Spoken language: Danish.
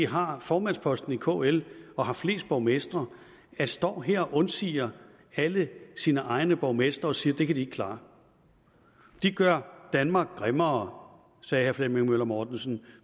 har formandsposten i kl og har flest borgmestre står her og egentlig undsiger alle sine egne borgmestre og siger det kan de ikke klare de gør danmark grimmere sagde herre flemming møller mortensen